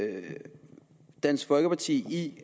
med dansk folkeparti i